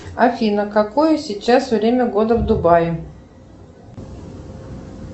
афина какое сейчас время года в дубае